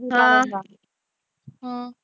ਹਮ